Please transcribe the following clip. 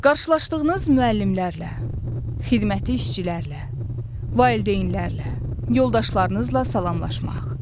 Qarşılaşdığınız müəllimlərlə, xidməti işçilərlə, valideynlərlə, yoldaşlarınızla salamlaşmaq.